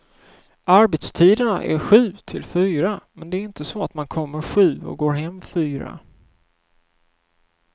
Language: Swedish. Arbetstiderna är sju till fyra, men det är inte så att man kommer sju och går hem fyra.